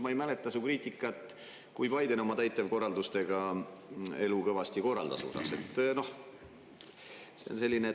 Ma ei mäleta su kriitikat, kui Biden oma täitevkorraldustega kõvasti USA-s elu korraldas.